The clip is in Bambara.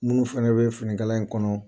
Mun fɛnɛ bɛ finikala in kɔnɔ